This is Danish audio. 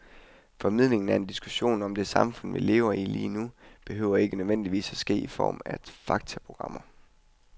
Formidlingen af en diskussion om det samfund, vi lever i lige nu, behøver ikke nødvendigvis at ske i form af faktaprogrammer.